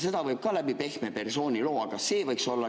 Seda võib ka läbi pehme persooniloo.